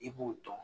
I b'u dɔn